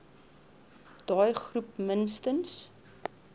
daai groep minstens